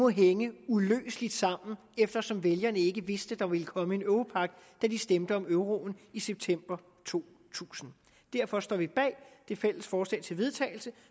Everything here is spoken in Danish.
hænger uløseligt sammen eftersom vælgerne ikke vidste at der ville komme en europagt da de stemte om euroen i september to tusind derfor står vi bag det fælles forslag til vedtagelse